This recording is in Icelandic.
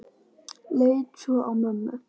Leit svo á mömmu.